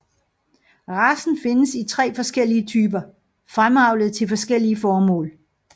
Racen findes i tre forskellige typer fremavlet til forskellige formål